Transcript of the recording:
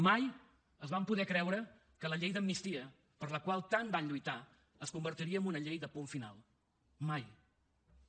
mai es van poder creure que la llei d’amnistia per la qual tant van lluitar es convertiria en una llei de punt final mai